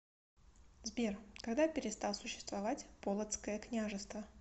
сбер когда перестал существовать полоцкое княжество